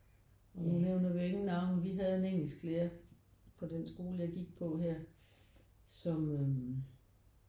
Nu nævner vi jo ingen navne. Vi havde en engelsklærer på den skole jeg gik på her som øh